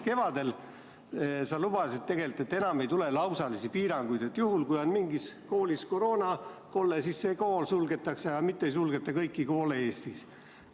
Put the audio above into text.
Kevadel sa lubasid tegelikult, et enam ei tule lausalisi piiranguid ja juhul, kui mingis koolis on koroonakolle, siis suletakse see kool, mitte ei suleta kõiki koole Eestis.